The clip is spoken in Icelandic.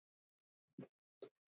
Og merkti sér vöruna.